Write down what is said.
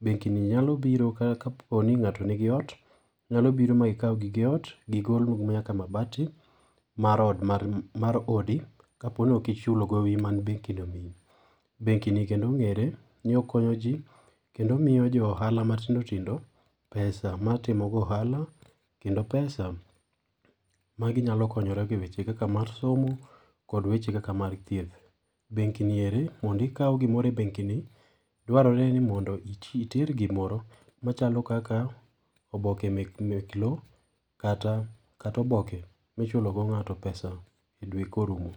benki ni nyalo biro ka ka poni ng'ato nigi oot, nyalo biro ma gi kaw gige oot gigol nyaka mabati mar ood mar oodi kaponi oki chulo gowi mane benki ni omiyi. Benki ni kendo ong'ere ni okonyo jii. kendo omiyo jo ohala matindo tindo pesa mar timo go ohala kendo pesa ma gi nyalo konyorego e weche kaka mar somo kod weche kaka mar thieth. Benki ni eri mondo i ikaw gimoro e benki ni ,dwarore mondo ni iter gimoro machalo kaka oboke mek mek loo, kata kat oboke michulo go ng'ato pesa e dwe korumo.